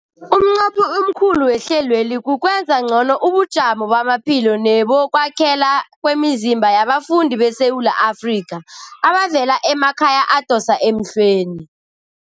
Umnqopho omkhulu wehlelweli kukwenza ngcono ubujamo bamaphilo nebokwakhela kwemizimba yabafundi beSewula Afrika abavela emakhaya adosa emhlweni.